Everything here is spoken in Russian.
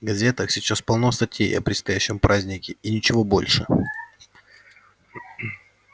в газетах сейчас полно статей о предстоящем празднике и ничего больше